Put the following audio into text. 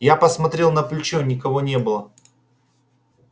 я посмотрел на плечо никого не было